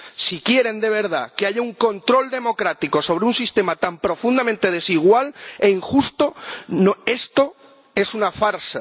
Si quieren de verdad que haya un control democrático sobre un sistema tan profundamente desigual e injusto, esto es una farsa.